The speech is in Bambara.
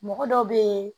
Mɔgɔ dɔ bɛ ye